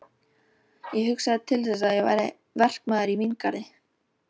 Ég hugsaði til þess að ég væri verkamaður í víngarði